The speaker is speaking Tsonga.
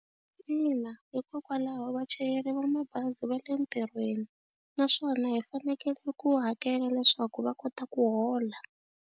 Ina, hikokwalaho vachayeri va mabazi va le ntirhweni naswona hi fanekele ku hakela leswaku va kota ku hola.